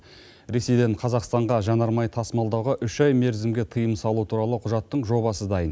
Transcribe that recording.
ресейден қазақстанға жанармай тасымалдауға үш ай мерзімге тыйым салу туралы құжаттың жобасы дайын